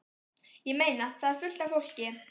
Ég meina. það er fullt af fólki.